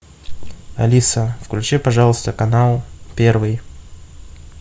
алиса включи пожалуйста канал первый